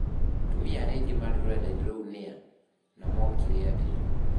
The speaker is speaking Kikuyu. Atumia arĩa angĩ marĩ rũrenda-inĩ rũu nĩ a, na mokire atĩa?